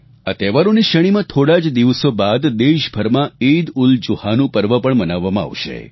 આ તહેવારોની શ્રેણીમાં થોડા જ દિવસો બાદ દેશભરમાં ઈદઉલજુહાનું પર્વ પણ મનાવવામાં આવશે